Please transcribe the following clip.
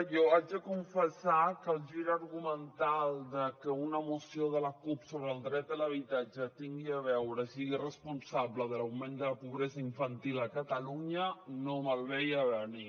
jo haig de confessar que el gir argumental de que una moció de la cup sobre el dret a l’habitatge tingui a veure i sigui responsable de l’augment de la pobresa infantil a catalunya no me’l veia a venir